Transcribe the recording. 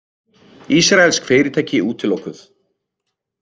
Ísraelsk fyrirtæki útilokuð